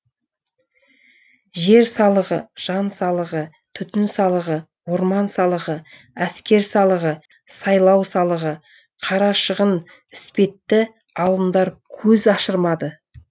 жер салығы жан салығы түтін салығы орман салығы әскер салығы сайлау салығы қара шығын іспетті алымдар көз ашырмады